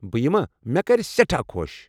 بہٕ یِما ،مےٚ كرِ سیٹھاہ خۄش ۔